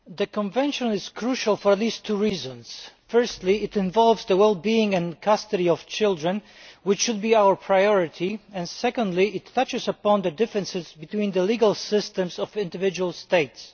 Madam President, the Convention is crucial for at least two reasons. Firstly it involves the well being and custody of children, which should be our priority, and secondly it touches upon the differences between the legal systems of individual states.